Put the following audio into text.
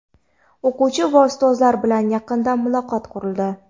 O‘quvchi va Ustozlar bilan yaqindan muloqot qurildi.